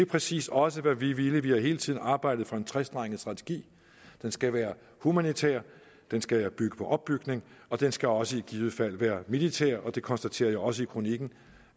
præcis også hvad vi ville vi har hele tiden arbejdet for en trestrenget strategi den skal være humanitær den skal bygge på opbygning og den skal også i givet fald være militær og det konstaterer jeg også i kronikken